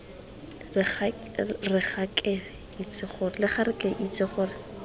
re ga ke itse gore